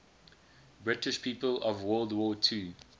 british people of world war ii